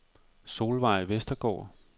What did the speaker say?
Solveig Vestergaard